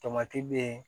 Tomati bɛ